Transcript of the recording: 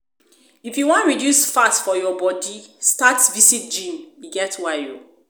if you wan reduce fat for your body, start visit gym, e get why o